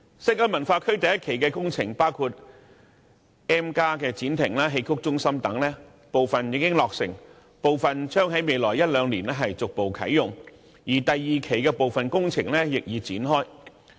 西九文化區第一期的工程包括 M+ 展亭、戲曲中心等，部分已經落成，部分將在未來一兩年逐步啟用，而第二期的部分工程亦已展開。